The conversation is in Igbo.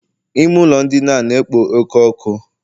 Ime ụlọ ndina a na-ekpo oke ọkụ